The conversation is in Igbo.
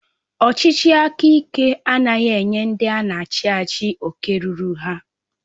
Ọchịchị aka ike anaghị enye ndị ana achị achị oke rụrụ ha.